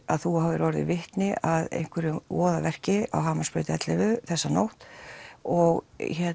að þú hafir orðið vitni að einhverju voðaverki á Hamarsbraut ellefu þessa nótt og